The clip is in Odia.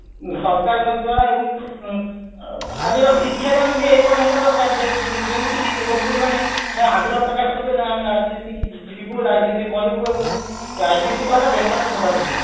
ସରକାରଙ୍କ ଦ୍ଵାରା ଏବଂ ଆଁ ଆଜିର ଶିକ୍ଷାଦାନ ବି ଏପରି ହବ ଦରକାର ଯେମିତିକି ଯୁବପିଢି ମାନେ ଆଗ୍ରହ ପ୍ରକାଶ କରିବେ ନାଇଁ ଆମେ ରାଜନୀତିକୁ ଯିବୁ ରାଜନୀତି କରିବୁ ଏବଂ ରାଜନୀତି ଦ୍ଵାରା ଦେଶର ସେବା କରିବୁ